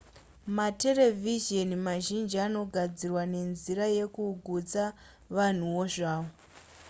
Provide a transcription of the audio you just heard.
materevhizheni mazhinji anogadzirwa nenzira yekugutsa vanhuwo zvavo